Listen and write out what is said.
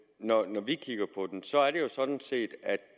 jo sådan set er at